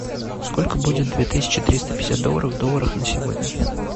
сколько будет две тысячи триста пятьдесят долларов в долларах на сегодня